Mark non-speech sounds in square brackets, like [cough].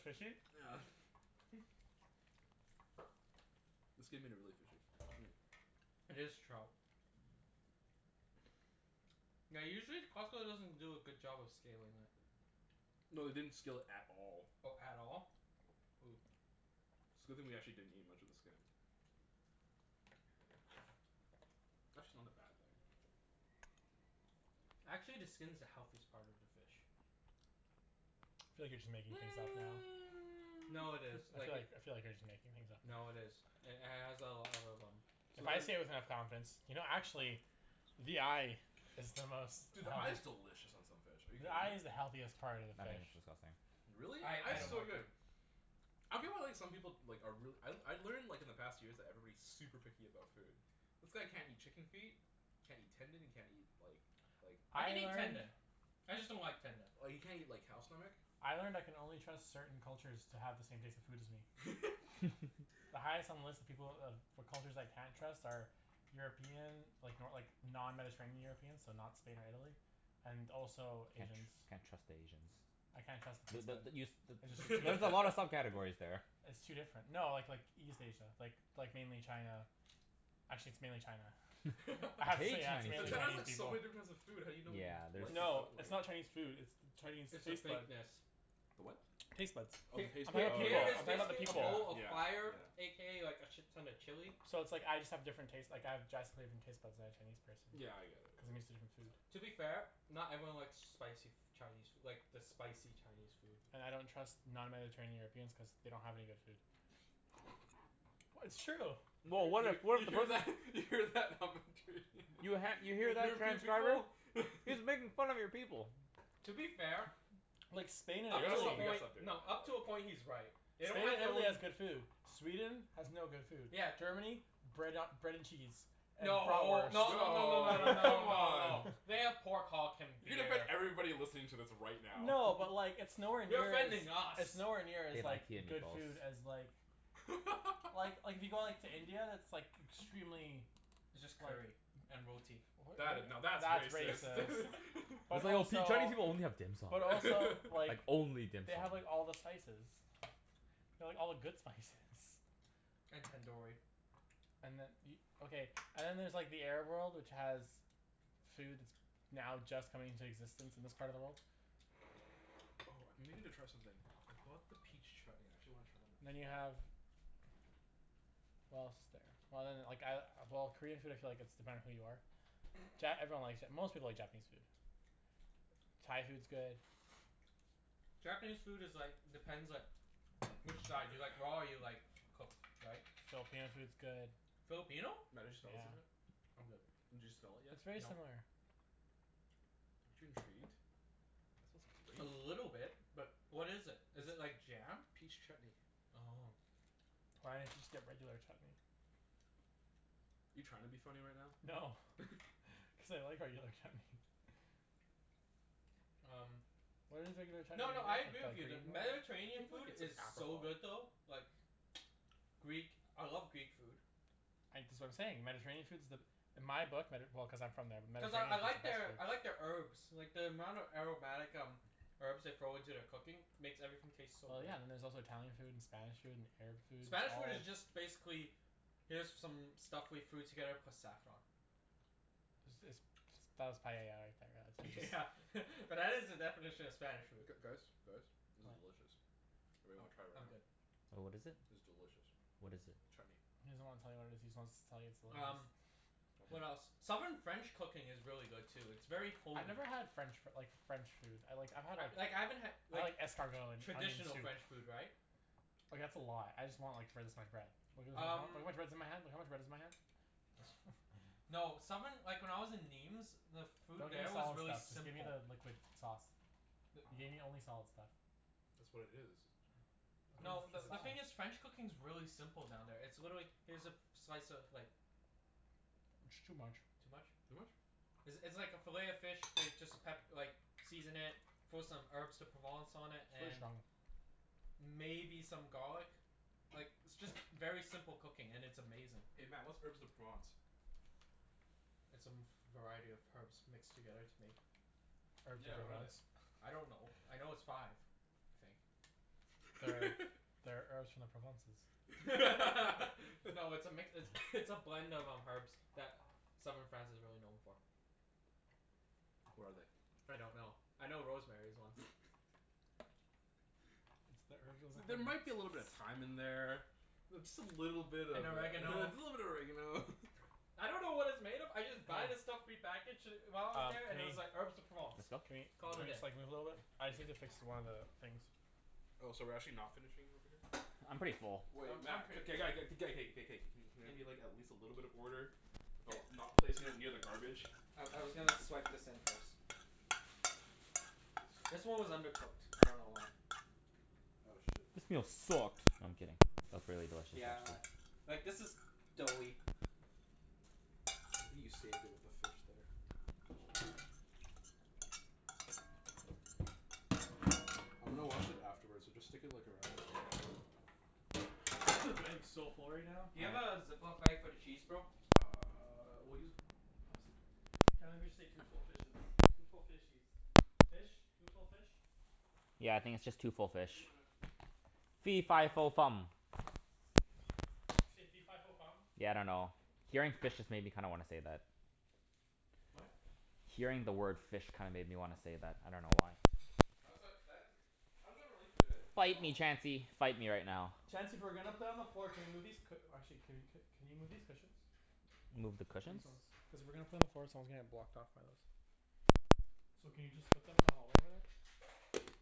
fishy? [noise] The skin made it really fishy. Mm. It is trout. [noise] [noise] Yeah, usually Costco [laughs] doesn't do a good job of scaling it. No, they didn't scale it at all. Oh, at all? Ooh. It's a good thing we didn't actually eat much of the skin. [noise] Actually not a bad thing. [noise] Actually, the skin's the healthiest part of the fish. [noise] [noise] I [noise] feel like you're just making things up now. No, it is. I feel Like it like, I feel like you're just making things up now. No, it is. It h- has a a lot of um So If I then say it with enough confidence. You know actually the eye is the most Dude, the eye is [inaudible] delicious on some fish. Are you The kidding eye me? is the healthiest part of the I think fish. it's disgusting. Really? I Eye I is don't so like Mm. it. good. I feel well like some people like are reall- I I learned like in the past years that everybody's super picky about food. This guy can't eat chicken feet can't eat tendon, he can't eat like like [noise] I I can eat learned tendon. I just don't like tendon. Or you can't eat like cow stomach. I learned I can only trust certain cultures to have the same taste in food as me. [laughs] [laughs] [laughs] The highest on the list of people of for cultures I can't trust are European like, no like, non-mediterranean Europeans. So not Spain or Italy. And also Can't Asians. tr- can't trust Asians. I can't trust B- their taste but the bud. you s- t- I just there's a lot of [laughs] sub-categories there. It's too different. No, like like, East Asia. Like, like mainly China. Actually, it's mainly China. [laughs] [laughs] Hate Actually, yeah. It's But mainly China's Chinese Chinese food. like, so people. many difference of food how do you know what you Yeah, [noise] like there's and don't No, it's like? not Chinese food, it's the Chinese It's the taste bud. fakeness. The what? Taste buds. Oh, the H- Of taste bud. h- all Oh people. here yeah, is Of all yeah, the basically a people. bowl yeah, of fire yeah. a k a like a shit ton of chili. So it's like, I just have different taste, like, I have drastically different taste buds than a Chinese person. Yeah, I get it. Cuz I'm used to different Yeah, food. [noise] yeah. To be fair, not everyone likes spicy f- Chinese like, the spicy Chinese food. And I don't trust non-mediterranean Europeans cuz they don't have any good food. [laughs] [laughs] W- it's true! Well, what You if we're you the hear pers- that? You hear that? You [laughs] ha- you hear that, transcriber? He's making [inaudible] fun of your people. To be fair Like, [inaudible] We Spain and up gotta to a Italy stop, we gotta point, stop doing that, no, up to a right? point he's right. They don't Only have their Italy own has good food. Sweden has no good food. Yeah. Germany? Bread a- bread and cheese. And No. [inaudible] No no no no No, no no come [laughs] no no. on. [laughs] They have pork hulk and You gonna offend beer. everybody listening to this right now. No, but like, it's nowhere You're near as offending it's us. nowhere near They as like, like good food [inaudible] as like Well, like, [laughs] if you go like, to India, that's like extremely It's just curry. like And roti. W- That i- now, w- that's that's racist. [laughs] racist. [laughs] But That's like, "Oh see, also Chinese people only have dim sum." But also [laughs] Like, like only dim they have sum. like all the spices. They have all the good spices. And tandoori. And then e- Okay, and then there's like, the Arab world, which has food that's now just coming into existence in this part of the world. Oh, I've been meaning to try something. I bought the peach chutney. I actually wanna try it on a And piece then of you bread. have what else is there? Well then, like I, well, Korean food I feel like it's dependent who you are. Ja- everyone likes Ja- most people like Japanese food. Thai food's good. [noise] Japanese food is like, depends like which side. Do you like raw or [noise] you like cooked, right? Filipino food's good. Filipino? Yeah. [inaudible] I'm good. Did you smell it yet? It's [noise] very No. similar. Aren't you intrigued? [noise] A Smells great. little bit. But what is it? Is it It's like jam? Peach chutney. Oh. Why didn't you just get regular chutney? You trying to be funny right now? No. [laughs] [laughs] Cuz I like regular chutney. [laughs] [noise] Um Why does regular chutney No, no, I agree with you that [inaudible] I Mediterranean think like food it's an is so good apricot. though. Like Greek, I love Greek food. I, that's what I'm saying. Mediterranean food's the In my book, Medi- well, cuz I'm from there. Cuz I I like their I like [inaudible] their herbs. Like the amount of aromatic um herbs they throw into their cooking makes everything taste so Well, good. yeah. And then there's also Italian food, and Spanish food, and Arab food. Spanish food is [inaudible] just basically here's some stuff we threw together plus saffron. Is this ps- that was paella right there, Yeah yeah [inaudible] [laughs] but that is the definition [noise] of Spanish food. G- guys? Guys? This is What? delicious. Anyone I'm wanna try it I'm right now? good. Oh, what is it? It's delicious. What is it? Chutney. He doesn't wanna tell you what it is. He just wants to tell you it's delicious. Um What Want some? else? Southern French cooking is really good too. It's very I've homey. never had French f- like, French food. I like, I've had a Like, I haven't had I like like escargot, and traditional onion soup. French food, right? Like, that's a lot. I just want like, finish my bread. [inaudible] Look how Um much bread is in my hand. Look at how much bread's in my hand. [laughs] no, [laughs] southern like, when I was in Nîmes the food Don't give me there was solid really stuff. Just give me simple. the liquid sauce. You The gave me only solid stuff. That's what it is. [inaudible] No, the the the thing is sauce. [inaudible] French cooking's really simple down there. It's literally, here's a f- slice of like It's too much. Too much? Too much? It's it's like a fillet of fish they just pep- like season it, throw some Herbes de Provence on it, Too and strong. maybe some garlic. Like, it's just very simple cooking, and it's amazing. Hey Mat, what's Herbes de Provence? [noise] [noise] It's a m- variety of herbs mixed together to make Herbes de Yeah, what are they? Provence. I don't know. [laughs] I know it's five. I think. That are [laughs] that are herbs from the Provences. [laughs] No, [laughs] it's a mix, it's [noise] [noise] it's a blend of um, herbs that southern France is really known for. What are they? I don't know. [noise] I know rosemary's one. [noise] [laughs] It's [noise] the herbs of the There might be a little bit of Provences. thyme in there. Th- just a little bit of a And little bit oregano. of oregano. [laughs] I don't know what it's made of. I just buy the stuff prepackaged d- while I was Um, there, can and it was like, we Herbes de Provence. It's can not Cana- we, Call can it a we day. just like, [inaudible] move a little bit? I just need to fix one of the things. Oh, so we're actually not finishing over here? I'm pretty full. Um, Wait I'm Mat, pretty k- g- g- k- g- g- k- k- k- k. Can there be like, at least a little bit of order? About not placing it near the garbage? I I was gonna swipe this in first. I see This one was undercooked. I don't know why. Oh shit. This meal sucked. I'm kidding. It was really delicious, Yeah actually. a Like this is doughy. You saved it with the fish there. I'm gonna wash it afterwards, so just stick it like around. [noise] I am so full right now. Do you have a Ziploc bag for the cheese, bro? Uh, we'll use a plastic bag. Can't believe we just ate two full fishes. Two full fishies. Fish? Two full fish? Yeah, I What? think it's just two full Can you bring fish. mine out too, please? Fee fi No. fo fum. Did you say fee fi fo fum? Yeah, I dunno. Hearing fish just kinda made me wanna say that. What? Hearing the word fish kinda made me wanna say that. I dunno why. How's that, that isn't How does that relate to it at Fight me, all? Chancey. Fight me right now. Chancey, if we're gonna put it on the floor can we move these cu- or actually, can you c- can you move these cushions? Move the These cushions? ones. Cuz if we're gonna put on the floor, someone's gonna get blocked off by those. So can you just put them in the hallway over there?